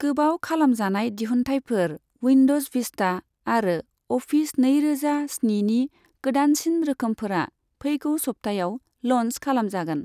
गोबाव खालामजानाय दिहुन्थायफोर, उइन्द'ज भिस्टा आरो अफिस नैरोजा स्निनि गोदानसिन रोखोमफोरा फेगौ सप्तायाव ल'न्च खालामजागोन।